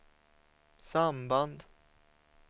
samband